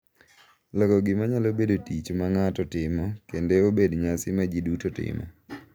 Loko gima nyalo bedo tich ma ng’ato timo kende obed nyasi ma ji duto timo.